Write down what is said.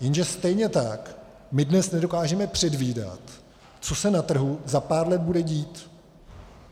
Jenže stejně tak my dnes nedokážeme předvídat, co se na trhu za pár let bude dít.